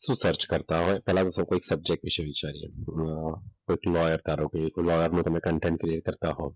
શું સર્ચ કરતા હોય? પહેલા તો એક સબ્જેક્ટ વિશે વિચારીએ. અમ લોયર ધારો કે તમે કન્ટેન્ટ ક્લિયર કરતા હો.